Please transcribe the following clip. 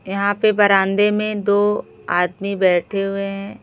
यहां पे बरांदे में दो आदमी बैठे हुए है।